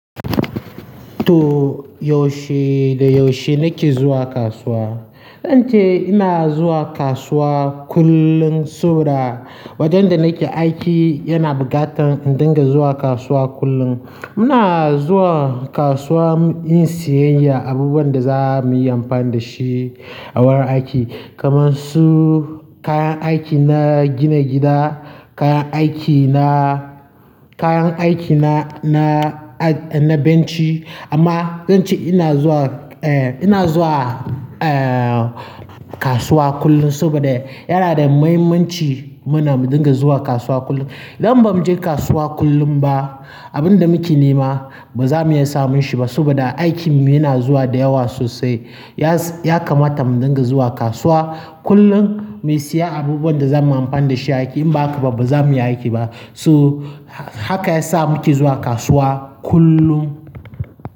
To, yaushe da yaushe nake zuwa kasuwa? Don ce ina zuwa kasuwa kullum sabo da, wajen da nake aiki yana bukatan in dinga zuwa kasuwa kullum. Muna zuwa kasuwa in siyayya abubuwan da za muyi amfan da shi a wurin aiki. Kanar su kayan aiki na gina gida, kayan aiki na, kayan aiki na na benci amma don ce ina zuwa, eh ina zuwa, eh kasuwa kullum saboda yana da muhimmanci muna mu dinga zuwa kasuwa kullum. Idan bamuje kasuwa kullum ba abinda muke nema bazamu iya samunshi ba So da aikinmu yana zuwa da yawa sosai. Ya, ya kamata mu dinga zuwa kasuwa kullum, mu siya abubuwan da za muyi amfan da shi a aiki. In ba haka ba, ba za mu iya aiki ba. So haka ya sa muke zuwa kasuwa kullum.